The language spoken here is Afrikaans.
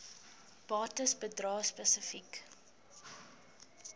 bates bedrae spesifiek